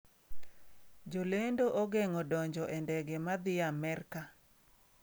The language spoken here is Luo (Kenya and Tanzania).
Jolendo ogeng’o donjo e ndege ma dhi Amerka.